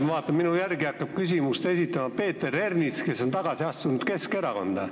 Ma vaatan, et minu järel hakkab küsimust esitama Peeter Ernits, kes on astunud tagasi Keskerakonda.